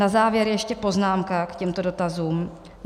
Na závěr ještě poznámka k těmto dotazům.